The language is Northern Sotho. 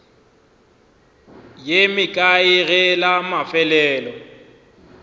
ye mekae ge la mafelelo